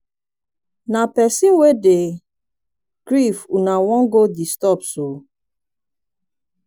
na pesin wey dey grief una wan go disturb so?